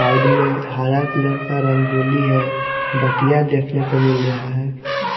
Side में हरा colour का रंगोली है बत्तियां देखने को मिल रहा है।